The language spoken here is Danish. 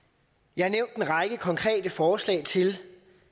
jeg har nævnt en række konkrete forslag til